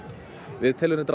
við teljum reyndar